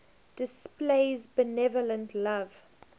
displays benevolent love